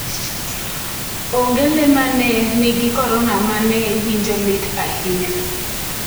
Onge le mane nigi korona mane winjo lit ahinya.